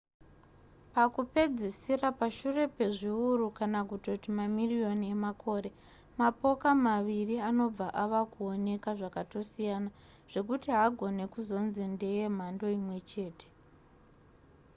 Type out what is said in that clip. pakupedzisira pashure pezviuru kana kutoti mamiriyoni emakore mapoka maviri anobva ava kuoneka zvakatosiyana zvekuti haagone kuzonzi ndeye mhando imwe chete